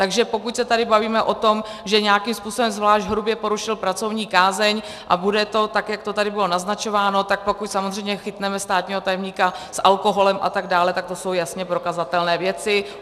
Takže pokud se tady bavíme o tom, že nějakým způsobem zvlášť hrubě porušil pracovní kázeň, a bude to tak, jak to tady bylo naznačováno, tak pokud samozřejmě chytneme státního tajemníka s alkoholem atd., tak to jsou jasně prokazatelné věci.